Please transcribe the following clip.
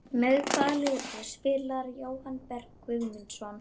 Með hvaða liði spilar Jóhann Berg Guðmundsson?